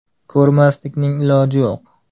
Ko‘rmaslikning iloji yo‘q!